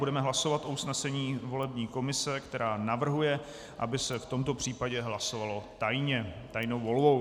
Budeme hlasovat o usnesení volební komise, která navrhuje, aby se v tomto případě hlasovalo tajně, tajnou volbou.